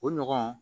O ɲɔgɔn